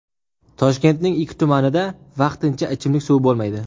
Toshkentning ikki tumanida vaqtincha ichimlik suvi bo‘lmaydi.